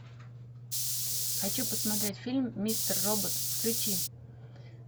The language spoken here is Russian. хочу посмотреть фильм мистер робот включи